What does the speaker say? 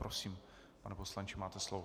Prosím, pane poslanče, máte slovo.